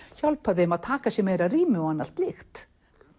hjálpa þeim að taka sér meira rými og annað slíkt